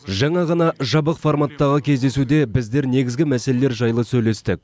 жаңа ғана жабық форматтағы кездесуде біздер негізгі мәселелер жайлы сөйлестік